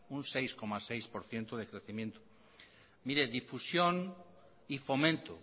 un seis coma seis por ciento de crecimiento mire difusión y fomento